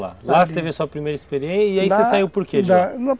Lá, lá você teve sua primeira experiência e aí você saiu por quê?